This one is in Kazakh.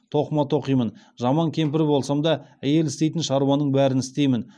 тоқыма тоқимын жаман кемпір болсам да әйел істейтін шаруаның бәрін істеймін